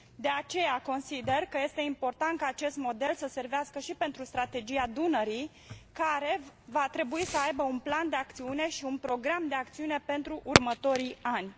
De aceea, consider că este important ca acest model să servească și pentru strategia Dunării, care va trebui să aibă un plan de acțiune și un program de acțiune pentru următorii ani.